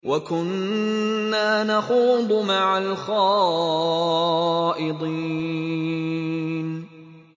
وَكُنَّا نَخُوضُ مَعَ الْخَائِضِينَ